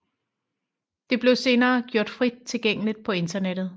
Det blev senere gjort frit tilgængeligt på internettet